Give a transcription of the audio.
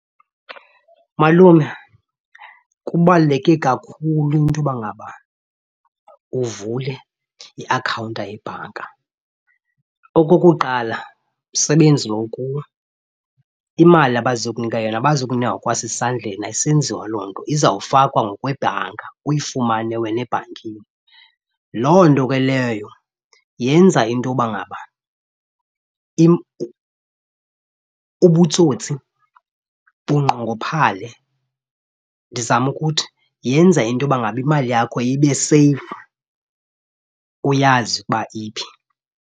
Malume, kubaluleke kakhulu into yoba ngaba uvule iakhawunta yebhanka. Okokuqala msebenzi lo ukuwo imali abazakunika yona abazokunika ngokwasesandleni, ayisenziwa loo nto izawufakwa ngokwebhanka uyifumane wena ebhankini. Loo nto ke leyo yenza into yoba ngaba ubutsotsi bunqongophale. Ndizama ukuthi yenza into yoba ngaba imali yakho ibeseyifu uyazi ukuba iphi.